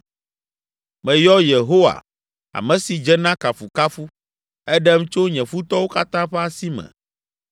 “Meyɔ Yehowa, ame si dze na kafukafu, eɖem tso nye futɔwo katã ƒe asi me.